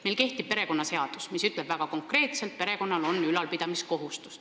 Meil kehtib perekonnaseadus, mis ütleb väga konkreetselt, et perekonnal on ülalpidamiskohustus.